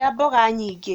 Rĩa mboga nyingĩ